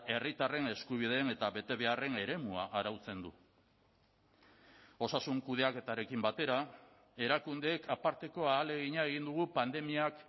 herritarren eskubideen eta betebeharren eremua arautzen du osasun kudeaketarekin batera erakundeek aparteko ahalegina egin dugu pandemiak